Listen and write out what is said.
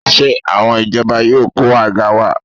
Ṣé àwọn ìjọba yóò kó àga wá?